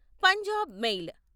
Punjab mail